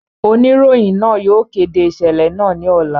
Onirohin naa yóò kede iṣẹlẹ naa ni ọla.